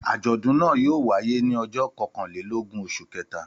Àjọ̀dún náà yóò wáyé ní ọjọ́ kọkànlélógún oṣù kẹta.